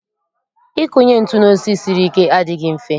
Ịkụnye ntụ n'osisi siri ike adịghị mfe